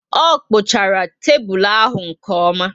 O kpuchara tébulu ahụ nke oma